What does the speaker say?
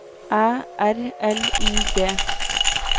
Æ R L I G